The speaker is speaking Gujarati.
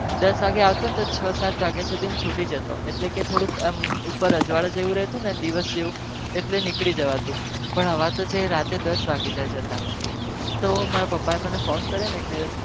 રાત્રે દસ વાગે આવતો છ સાત અજવડું દસ વાગે જાય છે જતાં તો મારા પપ્પા ફોન કરિયો